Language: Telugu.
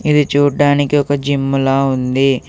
ఇది చూడ్డానికి ఒక జిమ్ములా ఉంది.